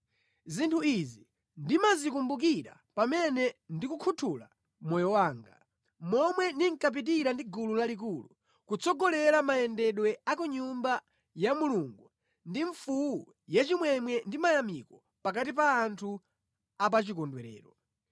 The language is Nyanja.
Zinthu izi ndimazikumbukira pamene ndikukhuthula moyo wanga: momwe ndinkapitira ndi gulu lalikulu, kutsogolera mayendedwe a ku Nyumba ya Mulungu ndi mfuwu yachimwemwe ndi mayamiko pakati pa anthu a pa chikondwerero.